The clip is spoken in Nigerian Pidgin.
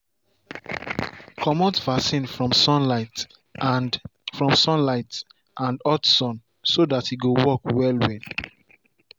commot vaccine from sunlight and from sunlight and hot sun so that e go work well well.